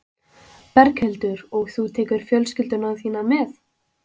Berghildur: Og þú tekur fjölskylduna þína með?